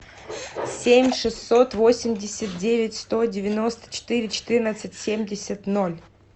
семь шестьсот восемьдесят девять сто девяносто четыре четырнадцать семьдесят ноль